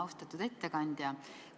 Austatud ettekandja!